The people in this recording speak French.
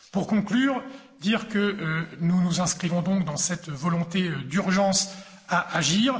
Pour conclure, dire que nous nous inscrivons donc dans cette volonté d'urgence à agir.